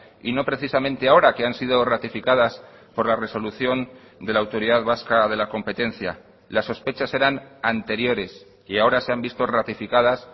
y no precisamente ahora que han sido ratificadas por la resolución de la autoridad vasca de la competencia las sospechas eran anteriores y ahora se han visto ratificadas